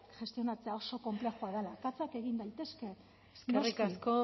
gestionatzea oso konplexua dela akatsak egin daitezke noski eskerrik asko